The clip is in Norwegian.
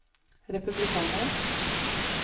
republikanere